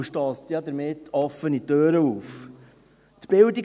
Sie rennt damit ja offene Türen ein.